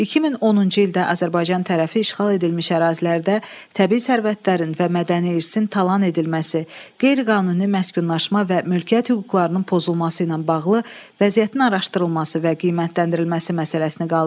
2010-cu ildə Azərbaycan tərəfi işğal edilmiş ərazilərdə təbii sərvətlərin və mədəni irsin talan edilməsi, qeyri-qanuni məskunlaşma və mülkiyyət hüquqlarının pozulması ilə bağlı vəziyyətin araşdırılması və qiymətləndirilməsi məsələsini qaldırdı.